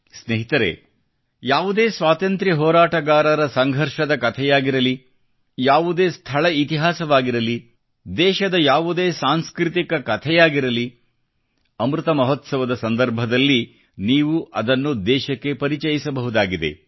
ಸ್ನೇಹಿತರೆ ಯಾವುದೇ ಸ್ವಾತಂತ್ರ್ಯ ಹೋರಾಟಗಾರರ ಸಂಘರ್ಷದ ಕಥೆಯಾಗಿರಲಿ ಯಾವುದೇ ಸ್ಥಳ ಇತಿಹಾಸವಾಗಿರಲಿ ದೇಶದ ಯಾವುದೇ ಸಾಂಸ್ಕೃತಿಕ ಕಥೆಯಾಗಿರಲಿ ಅಮೃತ ಮಹೋತ್ಸವದ ಸಂದರ್ಭದಲ್ಲಿ ನೀವದನ್ನು ದೇಶಕ್ಕೆ ಪರಿಚಯಿಸಬಹುದಾಗಿದೆ